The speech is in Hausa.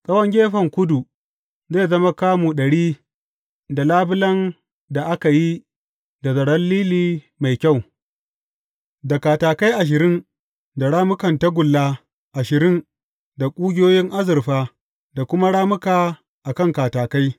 Tsawon gefen kudu zai zama kamu ɗari da labulen da aka yi da zaren lili mai kyau, da katakai ashirin da rammukan tagulla ashirin da ƙugiyoyin azurfa da kuma rammuka a kan katakai.